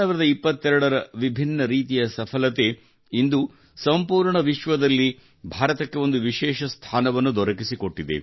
2022 ರ ವಿಭಿನ್ನ ರೀತಿಯ ಸಫಲತೆ ಇಂದು ಸಂಪೂರ್ಣ ವಿಶ್ವದಲ್ಲಿ ಭಾರತಕ್ಕೆ ಒಂದು ವಿಶೇಷ ಸ್ಥಾನವನ್ನು ದೊರಕಿಸಿಕೊಟ್ಟಿದೆ